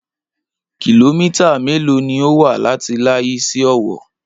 Kìlómítà mélòó ni ó wà láti Layi sí Owó?